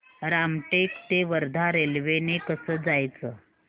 रामटेक ते वर्धा रेल्वे ने कसं जायचं